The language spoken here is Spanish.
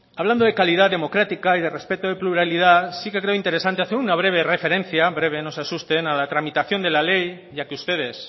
hablando de calidad democrática y de respeto de pluralidad sí que creo interesante hacer una breve referencia breve no se asusten a la tramitación de la ley ya que ustedes